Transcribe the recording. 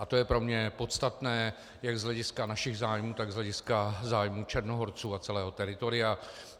A to je pro mě podstatné jak z hlediska našich zájmů, tak z hlediska zájmů Černohorců a celého teritoria.